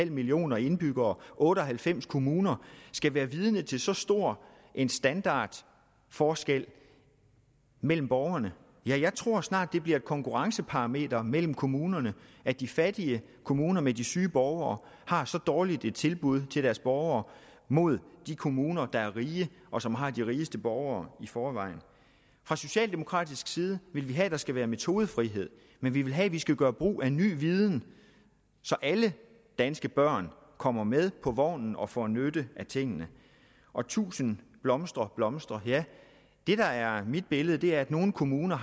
millioner indbyggere og otte og halvfems kommuner skal være vidne til så stor en standardforskel mellem borgerne jeg tror snart det bliver et konkurrenceparameter mellem kommunerne at de fattige kommuner med de syge borgere har så dårligt et tilbud til deres borgere mod de kommuner der er rige og som har de rigeste borgere i forvejen fra socialdemokratisk side vil vi have at der skal være metodefrihed men vi vil have at vi skal gøre brug af ny viden så alle danske børn kommer med på vognen og får nytte af tingene og tusind blomster blomstrer ja det der er mit billede er at nogle kommuner